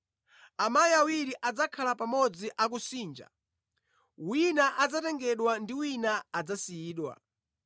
Amayi awiri adzakhala pamodzi akusinja; wina adzatengedwa ndi wina adzasiyidwa.